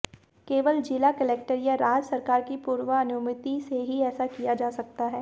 केवल जिला कलेक्टर या राज्य सरकार की पूर्वानुमति से ही ऐसा किया जा सकता है